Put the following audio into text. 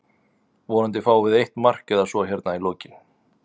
Vonandi fáum við eitt mark eða svo hérna í lokinn.